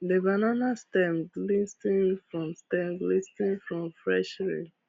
the banana stems glis ten ed from stems glis ten ed from fresh rain